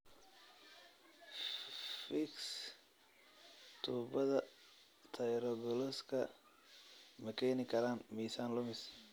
Fiix tubbada thyroglossalka ma keeni karaan miisaan lumis?